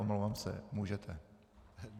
Omlouvám se, můžete.